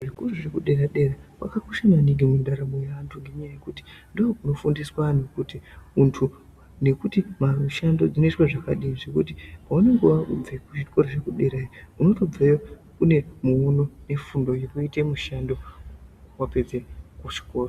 Zveku zvekudera dera kwakakosha maningi mundaramo yaantu ngenyaya yekuti ndokunofundiswa anhu kuti muntu nekuti mamushando dzinoitwe zvakadini zvekuti paunenge wabve kuzvikora zvekudera unotobveyo une muono nefundo yekuite mushando wapedze kuchikora.